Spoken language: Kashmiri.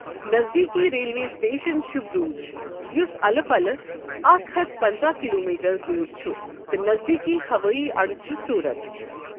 نزدیكی ریلوے سٹیشن چھ بروچ یس الہٕ پلہٕ اکھ ہتھ پنژہ كِلومیٹر دوٗر چھ تہٕ نزدیكی ہوٲیی اڈٕ چھ سوٗرت ۔